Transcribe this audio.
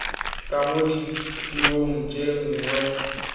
ka mo dipuong tse dingwe